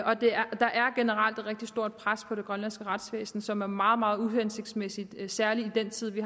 der er generelt et rigtig stort pres på det grønlandske retsvæsen som er meget meget uhensigtsmæssigt særlig i den tid vi